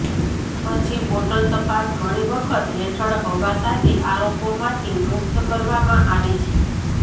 પછી બોટલ તપાસ ઘણી વખત હેઠળ હવા સાથે આરોપોમાંથી મુક્ત કરવામાં આવે છે